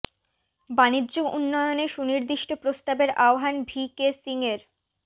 বাণিজ্য উন্নয়নে সুনিদির্ষ্ট প্রস্তাবের আহ্বান ভি কে সিং এর